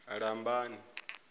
lambani